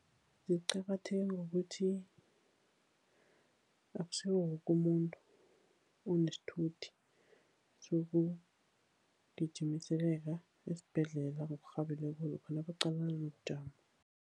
Ziqakatheke ngokuthi, akusiwo woke umuntu onesithuthi, esibhedlela ngokurhabileko lokha nabaqalana nobujamo.